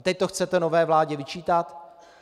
A teď to chcete nové vládě vyčítat?